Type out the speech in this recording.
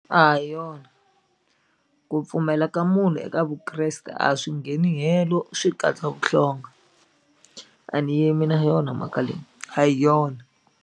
A hi yona ku pfumela ka munhu eka Vukreste a swi ngheni helo swi katsa vuhlonga a ni yimi na yona mhaka leyi a hi yona.